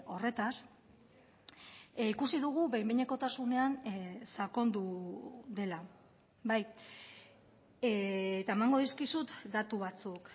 horretaz ikusi dugu behin behinekotasunean sakondu dela eta emango dizkizut datu batzuk